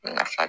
Nafa